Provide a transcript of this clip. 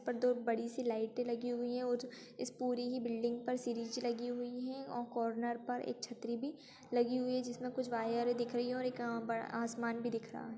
--पर दो बड़ी सी लाइटे लगी हुई है और इस पूरी ही बिल्डिंग पर सीरीज लगी हुई है और कॉर्नर पर एक छतरी भी लगी हुई है जिसमें कुछ वायरे भी दिख रही है और अ एक बड़ा आसमान भी दिख रहा है।